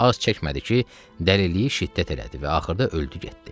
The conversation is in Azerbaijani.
Az çəkmədi ki, dəliliyi şiddət elədi və axırda öldü getdi.